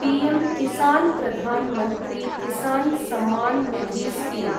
PM Kisan Pradhanmantri Kisan Samman Nidhi scheme